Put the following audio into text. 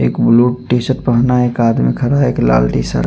एक blue T shirt पहना एक आदमी खड़ा है एक लाल टी शर्ट --